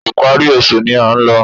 Ìparí oṣù ni a ń lọ